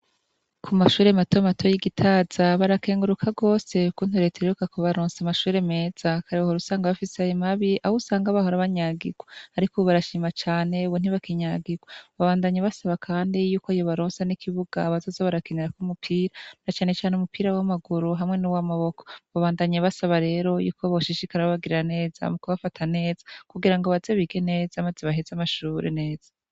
Ku mashure matomato y'igitaza barakenguruka gose kukuntu reta iheruka kubaronsa amashure meza kare wahora usanga bafise amashure mabi aho usanga bahora banyagirwa, ariko ubu barashima cane ubu ntibakinyagirwa babandanya basaba, kandi yuko yobaronsa n'ikibuga bazoza barakenerako umupira na canecane umupira w'amaguru hamwe n'uw'amaboko, babandanya basaba rero yuko boshishika babagirira neza mu kubafata neza kugira ngo baze bige neza maze baheze amashuri neza.